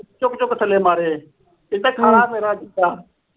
ਚੁੱਕ ਚੁੱਕ ਥੱਲੇ ਮਾਰੇ। ਇਹ ਤਾਂ ਖਾ ਲੈ ਮੇਰਾ